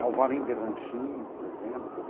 Alvarenga e Ranchinho, por exemplo.